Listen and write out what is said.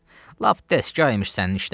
Lap dəstgah imiş sənin işlərin.